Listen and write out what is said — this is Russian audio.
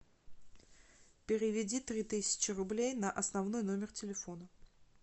переведи три тысячи рублей на основной номер телефона